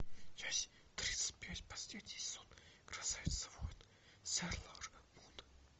часть тридцать пять последний сезон красавица воин сейлор мун